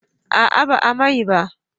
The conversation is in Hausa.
A'a ba a mai ba